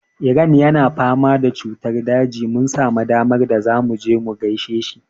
Eran yana fama da cutar daji. Mun samu damar da zamu je mu gaishe shi.